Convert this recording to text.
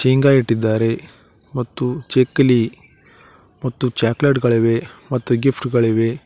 ಇಂಗ ಇಟ್ಟಿದ್ದಾರೆ ಮತ್ತು ಚಕ್ಕಲಿ ಮತ್ತು ಚಾಕಲೇಟ್ ಗಳಿವೆ ಮತ್ತು ಗಿಫ್ಟ್ ಗಳಿವೆ.